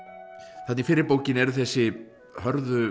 þarna í fyrri bókinni eru þessi hörðu